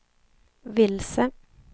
vilse